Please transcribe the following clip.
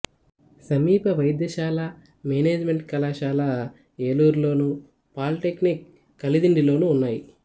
సమీప వైద్య కళాశాల మేనేజిమెంటు కళాశాల ఏలూరులోను పాలీటెక్నిక్ కలిదిండిలోనూ ఉన్నాయి